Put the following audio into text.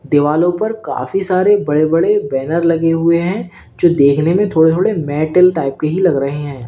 दीवालों पर काफी सारे बड़े बड़े बैनर लगे हुए हैं जो देखने में थोड़े थोड़े मेटल टाइप के ही लग रहे हैं।